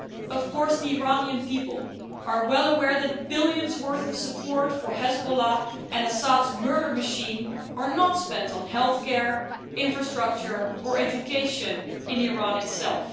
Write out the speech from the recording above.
Of course the Iranian people are well aware that the billions worth of support for Hezbollah and Assad's murder machine are not spent on healthcare, infrastructure or education in Iran itself.